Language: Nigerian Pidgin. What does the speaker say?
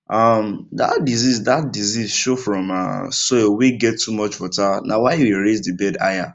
um that disease that disease show from um soil wey get too much water na why we raise the bed higher